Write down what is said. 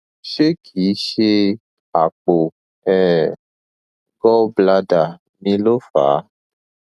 ṣé kìí ṣe àpò um gall bladder mi ló fà á